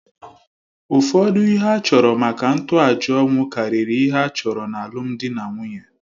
Ụfọdụ ihe a chọrọ maka ntoaja ọnwụ karịrị ihe a chọrọ n’alụmdi na nwunye.